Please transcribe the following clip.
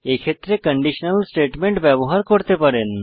এক্ষেত্রে conditional statement ব্যবহার করতে পারেন